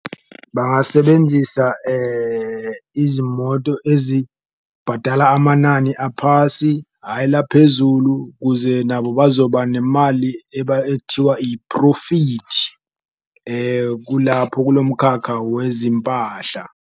Bangasebenzisa izimoto ezibhadala amanani aphasi hhayi laphezulu, kuze nabo bazoba nemali ethiwa i-profit kulapho kulo mkhakha wezimpahla.